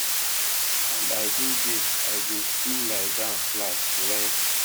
and i go jail i go still lie down flat wen